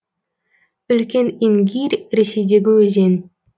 үлкен ингирь ресейдегі өзен